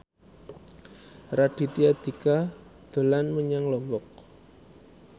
Raditya Dika dolan menyang Lombok